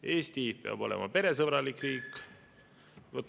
Eesti peab olema peresõbralik riik.